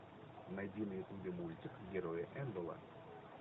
найди на ютубе мультик герои эндела